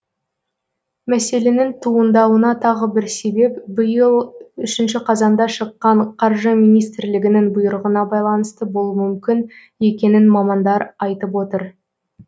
мәселенің туындауына тағы бір себеп биыл үшінші қазанда шыққан қаржы министрлігінің бұйрығына байланысты болуы мүмкін екенін мамандар айтып отыр